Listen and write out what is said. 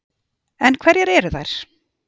En hverjar eru þær?